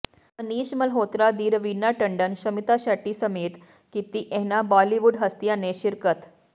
ਮਨੀਸ਼ ਮਲਹੋਤਰਾ ਦੀ ਰਵੀਨਾ ਟੰਡਨ ਸ਼ਮਿਤਾ ਸ਼ੈੱਟੀ ਸਮੇਂਤ ਕੀਤੀ ਇਹਨਾਂ ਬਾਲੀਵੁੱਡ ਹਸਤੀਆਂ ਨੇ ਸ਼ਿਰਕਤ